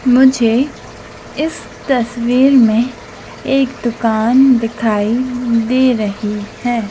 मुझे इस तस्वीर में एक दुकान दिखाई दे रही है।